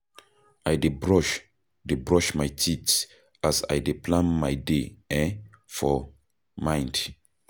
I dey brush dey brush my teeth as I dey plan my day um for mind.